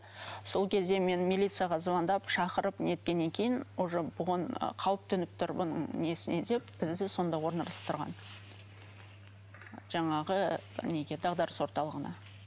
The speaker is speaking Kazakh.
сол кезде мен милицияға звандап шақырып неткеннен кейін уже бұған қауіп төніп тұр бұның несіне деп бізді сонда орналастырған жаңағы неге дағдарыс орталығына